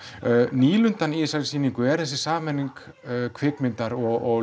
nýlundan í þessari sýningu er þessi sameining kvikmyndar og